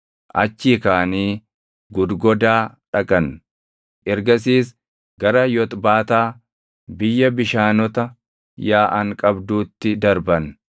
Achii kaʼanii Gudgodaa dhaqan; ergasiis gara Yoxbaataa biyya bishaanota yaaʼan qabduutti darban.